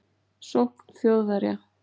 Sókn Þjóðverja